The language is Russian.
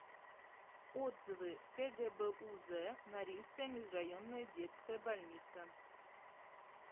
отзывы кгбуз норильская межрайонная детская больница